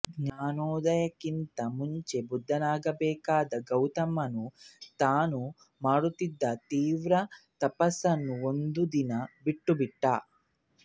ಜ್ಞಾನೋದಯಕ್ಕಿಂತ ಮುಂಚೆ ಬುದ್ಧನಾಗಬೇಕಿದ್ದ ಗೌತಮನು ತಾನು ಮಾಡುತ್ತಿದ್ದ ತೀವ್ರ ತಪಸ್ಸನ್ನು ಒಂದು ದಿನ ಬಿಟ್ಟು ಬಿಟ್ಟ